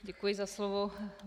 Děkuji za slovo.